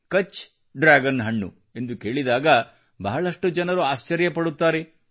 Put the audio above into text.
ಕಛ್ಡ್ರ್ಯಾಗನ್ ಹಣ್ಣು ಎಂದು ಕೇಳಿದಾಗ ಬಹಳಷ್ಟು ಜನರು ಆಶ್ಚರ್ಯಪಡುತ್ತಾರೆ